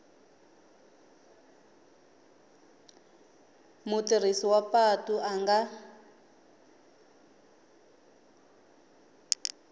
mutirhisi wa patu a nga